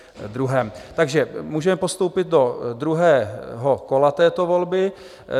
Takže můžeme postoupit do druhého kola této volby.